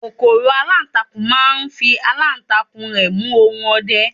kòkòrò alantakun ma n fi alantakun rẹ mu ohun ọdẹ